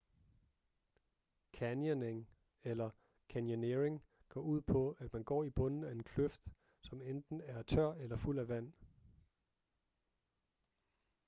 canyoning eller: canyoneering går ud på at man går i bunden af en kløft som enten er tør eller fuld af vand